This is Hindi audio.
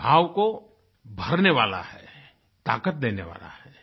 उस भाव को भरने वाला है ताकत देने वाला है